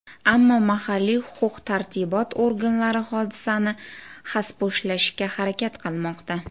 Ammo mahalliy huquq-tartibot organlari hodisani xaspo‘shlashga harakat qilmoqda.